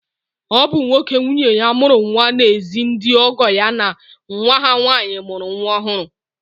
Ọ bụ nwoke nwunye ya mụrụ nwa na-ezi ndị ọgọ ya na nwa ha nwaanyị mụrụ nwa ọhụrụ.